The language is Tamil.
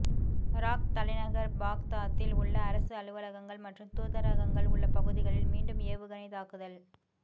இராக் தலைநகர் பாக்தாத்தில் உள்ள அரசு அலுவலங்கள் மற்றும் தூதரங்கள் உள்ள பகுதிகளில் மீண்டும் ஏவுகணைத் தாக்குதல்